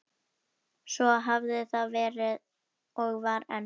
Svo hafði það verið og var enn.